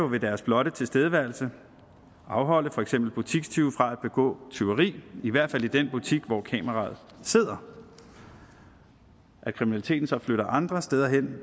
ved deres blotte tilstedeværelse afholde for eksempel butikstyve fra at begå tyveri i hvert fald i den butik hvor kameraet sidder at kriminaliteten så flytter andre steder hen